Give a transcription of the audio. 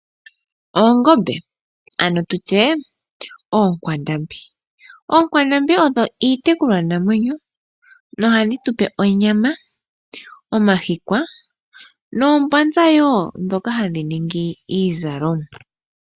Oongombe ano tu tye oonkwandambi. Oonkwandambi odho iitekulwanamwenyo nohadhi tu pe onyama, omahikwa noombanza woo ndhoka hadhi ningi iizalomwa.